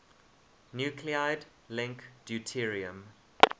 nuclide link deuterium